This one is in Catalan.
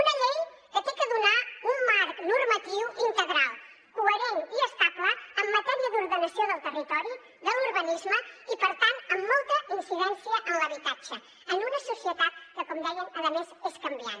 una llei que ha de donar un marc normatiu integral coherent i estable en matèria d’ordenació del territori de l’urbanisme i per tant amb molta incidència en l’habitatge en una societat que com dèiem a més és canviant